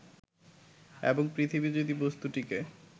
এবং পৃথিবী যদি বস্তুটিকে